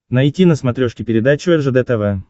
найти на смотрешке передачу ржд тв